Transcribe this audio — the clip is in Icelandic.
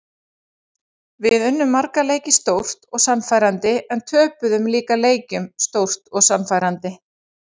Við unnum marga leiki stórt og sannfærandi en töpuðum líka leikjum stórt og sannfærandi.